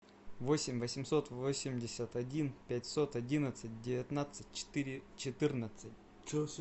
восемь восемьсот восемьдесят один пятьсот одиннадцать девятнадцать четыре четырнадцать